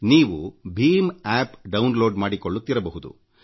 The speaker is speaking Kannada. ನೀವು ಭೀಮ್ ಆಪ್ ಡೌನ್ ಲೋಡ್ ಮಾಡಿಕೊಳ್ಳುತ್ತಿರಬಹುದು